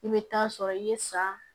I bɛ taa sɔrɔ i ye sa